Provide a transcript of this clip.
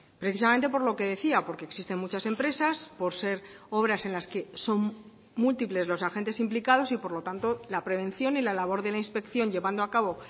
precisamente por lo que decía porque existen muchas empresas por ser obras en las que son múltiples los agentes implicados y por lo tanto la prevención y la labor de la inspección llevando a cabo